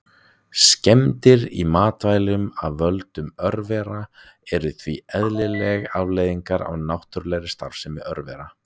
Skemmdir í matvælum af völdum örvera eru því eðlileg afleiðing af náttúrulegri starfsemi örvera.